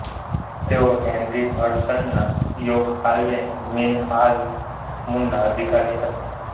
તેઓ હેનરી હડસનના યોક હાલ્વે મીન હાલ્ફ મૂનના અધિકારી હતા